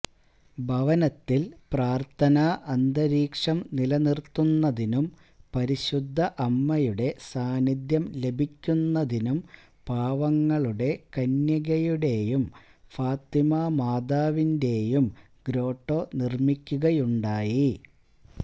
ഭവനത്തിൽ പ്രാർത്ഥനാ അന്തരീക്ഷം നിലനിർത്തുന്നതിനും പരിശുദ്ധ അമ്മയുടെ സാന്നിധ്യം ലഭിക്കുന്നതിനും പാവങ്ങളുടെ കന്യകയുടെയും ഫാത്തിമാ മാതാവിന്റെയും ഗ്രോട്ടോ നിർമിക്കുകയുണ്ടായി